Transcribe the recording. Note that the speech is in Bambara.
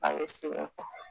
A ye